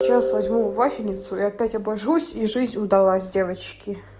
сейчас возьму вафельницу и опять обойдусь и жизнь удалась девочки